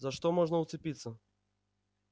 за что можно уцепиться